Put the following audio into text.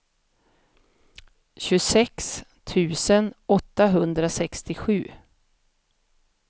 tjugosex tusen åttahundrasextiosju